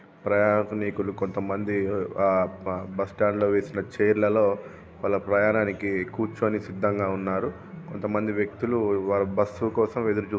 ప్రయాణికులు కొంత మంది ఆ బ-బస్టాండ్ లో వేసిన చేర్ల లో వాళ్ళ ప్రయాణానికి కూర్చొని సిద్దంగా ఉన్నారు. కొంతమంది వ్యక్తులు వాళ్ళ బస్సు కోసం ఎడురుస్తు--